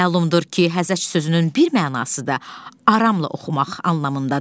Məlumdur ki, Həzəc sözünün bir mənası da aramla oxumaq anlamındadır.